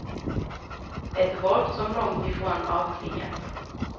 Ett våld som långt ifrån avklingat.